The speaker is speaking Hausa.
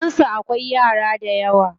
Gidansu akwai yara dayawa.